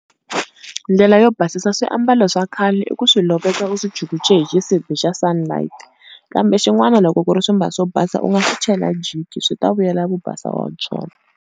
Ndlela yo basisa swiambalo swa khale i ku swi loveka u swi chukuchela hi xisibi xa Sunlight. Kambe xin'wana loko ku ri swimbalo swo basa u nga swi chela jiki swi ta vuyela vubasa wa byona.